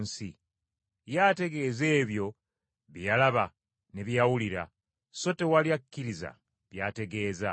Ye ategeeza ebyo bye yalaba ne bye yawulira, so tewali akkiriza by’ategeeza.